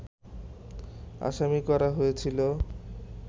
আসামি করা হয়েছিল